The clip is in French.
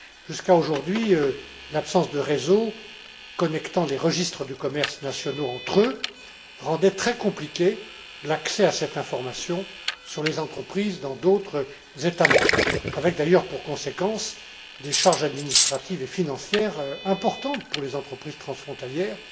Jusqu'à présent, l'absence de réseau connectant les registres du commerce nationaux entre eux, rendait très compliqué l'accès à cette information sur les entreprises dans d'autres États membres, avec d'ailleurs pour conséquence des charges administratives et financières importantes pour les entreprises transfrontalières.